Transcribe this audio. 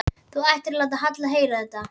Þú ættir ekki að láta Halla heyra þetta.